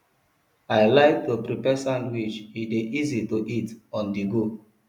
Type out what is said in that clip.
i like to prepare sandwich e dey easy to eat onthego